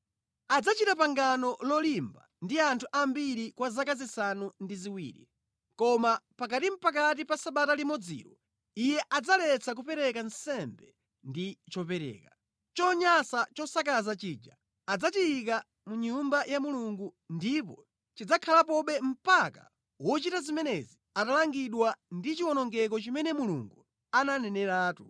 Adzachita pangano lolimba ndi anthu ambiri kwa zaka zisanu ndi ziwiri. Koma pakatinʼpakati pa sabata limodzilo iye adzaletsa kupereka nsembe ndi chopereka. Chonyansa chosakaza chija adzachiyika mʼNyumba ya Mulungu, ndipo chidzakhalapobe mpaka wochita zimenezi atalangidwa ndi chiwonongeko chimene Mulungu ananeneratu.”